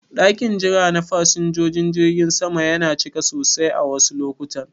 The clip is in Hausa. Ɗakin jira na fasinjojin jirgin sama yana cika sosai a wasu lokutan.